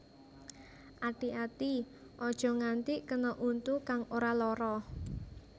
Ati ati aja nganti kena untu kang ora lara